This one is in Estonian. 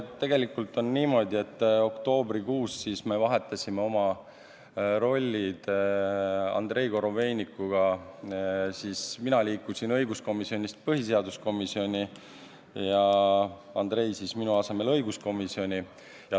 Tegelikult on niimoodi, et oktoobrikuus me vahetasime oma rollid Andrei Korobeinikuga ära, mina liikusin õiguskomisjonist põhiseaduskomisjoni ja Andrei läks minu asemel õiguskomisjoni.